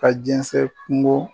Ka jɛnsɛn kungo